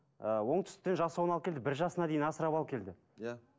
ы оңтүстіктен жасауын алып келді бір жасына дейін асырап алып келді иә